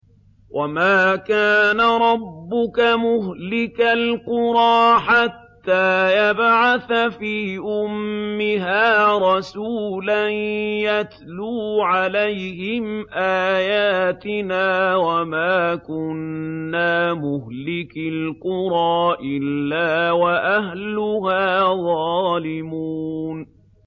وَمَا كَانَ رَبُّكَ مُهْلِكَ الْقُرَىٰ حَتَّىٰ يَبْعَثَ فِي أُمِّهَا رَسُولًا يَتْلُو عَلَيْهِمْ آيَاتِنَا ۚ وَمَا كُنَّا مُهْلِكِي الْقُرَىٰ إِلَّا وَأَهْلُهَا ظَالِمُونَ